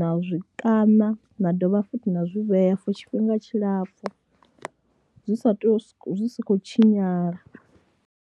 na zwi ṱana na dovha futhi na zwi vhea for tshifhinga tshilapfhu zwi sa tou, zwi si khou tshinyala.